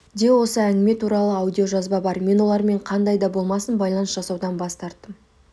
де осы әңгіме туралы аудиожазба бар мен олармен қандай да болмасын байланыс жасаудан бас тарттым